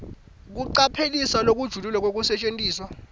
kucaphelisisa lokujulile kwekusetjentiswa